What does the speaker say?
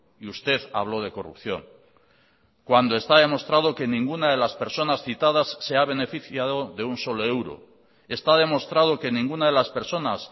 y usted habló de corrupción cuando está demostrado que ninguna de las personas citadas se ha beneficiado de un solo euro está demostrado que ninguna de las personas